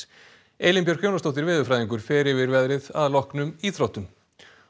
Elín Björk Jónasdóttir veðurfræðingur fer yfir veðrið að loknum íþróttum